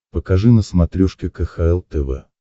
покажи на смотрешке кхл тв